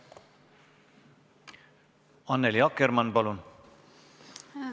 Annely Akkermann, palun!